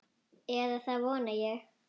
Eða það vona ég,